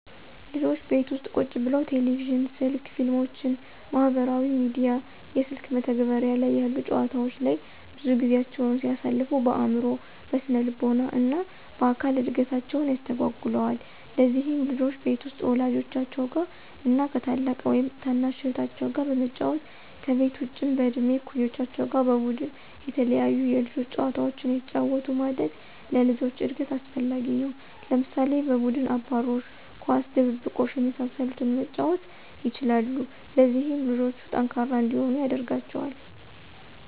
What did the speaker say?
ልጆች ቤት ውስጥ ቁጭ ብለው ቴሌቪዥን፣ ስልክ፣ ፊልሞችን፣ ማህበራዊ ሚዲያ፣ የስልክ መተግበሪያ ላይ ያሉ ጨዋታወች ላይ ብዙ ጊዜያቸውን ሲያሳልፉ በአዕምሮ፣ በስነልቦና እና በአካል እድገታቸውን ያስተጓጉለዋል። ለዚህም ልጆች ቤት ውስጥ ወላጆቻቸው ጋር እና ከ ታላቅ ወይም ታናሽ እህታቸው ጋር በመጫወት፤ ከቤት ውጭም በእድሜ እኩዮቻቸው ጋር በቡድን የተለያዩ የልጆች ጨዋታዎችን አየተጫወቱ ማደግ ለልጆች እድገት አስፈላጊ ነው። ለምሳሌ፦ በቡድን አባሮሽ፣ ኳስ፣ ድብብቆሽ የመሳሰሉትን መጫወት ይችላሉ። ለዚህም ልጆቹ ጠንካራ እንዲሆኑ ያደርጋቸዋል።